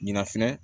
Ɲina fɛnɛ